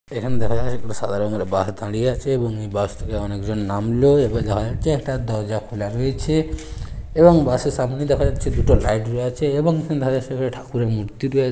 দেখা যাচ্ছে একটা সাদা রঙের বাস দাঁড়িয়ে আছে এবং এই বাস থেকে অনেক জন নামলো এবং দেখা যাচ্ছে একটা দরজা খোলা রয়েছে এবং বাস এর সামনে দেখা যাচ্ছে দুটো লাইট রয়ে আছে এবং ঠাকুরের মূর্তি রয়েছে ।